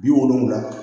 Bi wolonwula